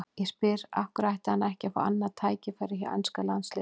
Ég spyr: Af hverju ætti hann ekki að fá annað tækifæri hjá enska landsliðinu?